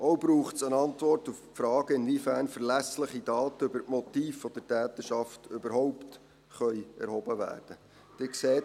Es braucht auch eine Antwort auf die Frage, inwiefern verlässliche Daten über die Motive der Täterschaft überhaupt erhoben werden können.